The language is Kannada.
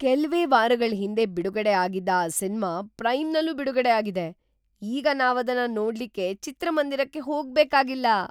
ಕೆಲ್ವೇ ವಾರಗಳ್ ಹಿಂದೆ ಬಿಡುಗಡೆ ಆಗಿದ್ದ ಆ ಸಿನ್ಮಾ ಪ್ರೈಮ್‌ನಲ್ಲೂ ಬಿಡುಗಡೆ ಆಗಿದೆ! ಈಗ ನಾವದನ್ನ ನೋಡ್ಲಿಕ್ಕೆ ಚಿತ್ರಮಂದಿರಕ್ಕೆ ಹೋಗ್ಬೇಕಾಗಿಲ್ಲ!